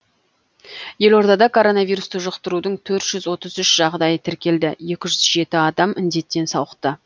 елордада коронавирусты жұқтырудың төрт жүз отыз үш жағдайы тіркелді екі жүз жеті адам індеттен сауықты